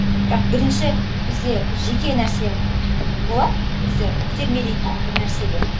бірақ бірінші бізде бір жеке нәрсе болады бізді итермелейтін бір нәрсеге